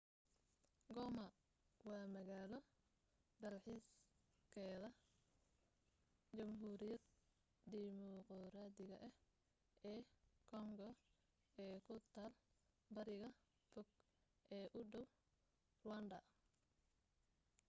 goma waa magaalo dalxiiseedka jamhuuriyadd dimuquraadiga ah ee koongo ee ku taal bariga fog ee u dhow ruwaandha